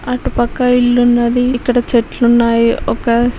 అటు పక్క ఇల్లు ఉన్నదీ ఇటు చెట్లున్నాయి ఒక--